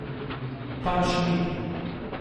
Pač ni.